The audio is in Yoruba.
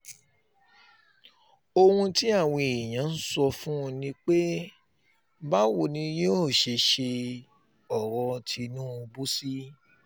ohun tí àwọn èèyàn um ń sọ ni pé um báwo ni yóò ṣe ṣe ọ̀rọ̀ tìǹbù sí